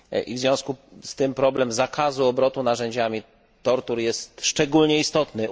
W związku z tym problem zakazu obrotu narzędziami tortur jest szczególnie istotny.